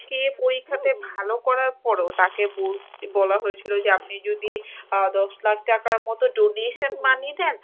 সে পরীক্ষাতে ভালো করার পরও তাকে বল~ বলা হয়েছিল আপনি যদি আ দশ লক্ষ টাকার মতো donation money দেন!